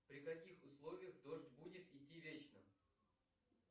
при каких условиях дождь будет идти вечно